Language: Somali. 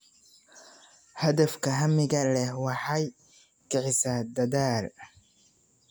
Hadafka hamiga leh waxa ay kicisaa dadaal.